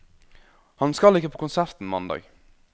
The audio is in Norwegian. Han skal ikke på konserten mandag.